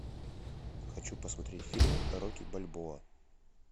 хочу посмотреть фильм рокки бальбоа